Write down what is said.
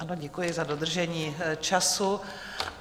Ano, děkuji za dodržení času.